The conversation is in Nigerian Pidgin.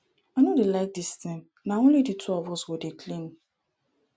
i no dey like dis thing na only the two of us go dey clean